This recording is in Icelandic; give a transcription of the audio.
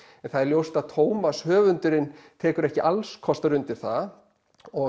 en það er ljóst að höfundurinn tekur ekki alls kostar undir það og